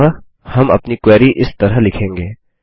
अतः हम अपनी क्वेरी इस तरह लिखेंगे